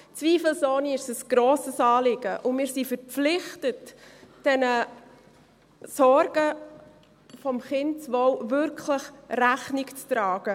Zweifelsohne ist es ein grosses Anliegen, und wir sind verpflichtet, diesen Sorgen bezüglich des Kindeswohls wirklich Rechnung zu tragen.